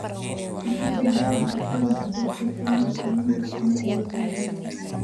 i tuso heerka kobaca dadka kenya tobankii sano ee la soo dhaafay